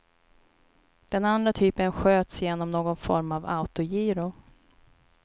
Den andra typen sköts genom någon form av autogiro.